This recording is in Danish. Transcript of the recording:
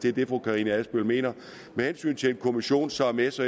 er det fru karina adsbøl mener med hensyn til en kommission som s